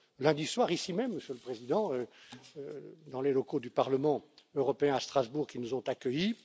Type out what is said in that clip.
lundi soir, ici même, Monsieur le Président, dans les locaux du Parlement européen à Strasbourg qui nous ont accueillis.